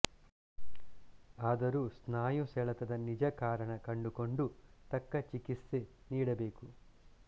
ಆದರೂ ಸ್ನಾಯು ಸೆಳೆತದ ನಿಜಕಾರಣ ಕಂಡುಕೊಂಡು ತಕ್ಕ ಚಿಕಿತ್ಸೆ ನೀಡಬೇಕು